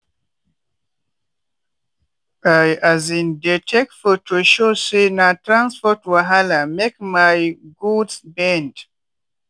i um dey take photo show say na transport wahala make my goods bend.